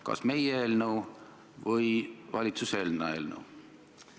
Kas see toetab rohkem meie eelnõu või valitsuse enda eelnõu?